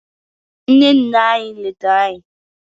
nne nne anyi letara anyi